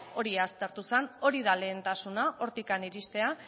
hori aztertu zen hori da lehentasuna hortik iristea